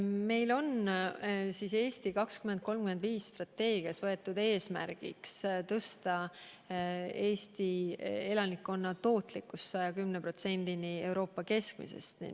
Meil on strateegias "Eesti 2035" võetud eesmärgiks tõsta Eesti elanikkonna tootlikku 110%-ni võrreldes Euroopa keskmise palgaa.